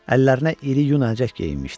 Əllərinə iri yun əlcək geyinmişdi.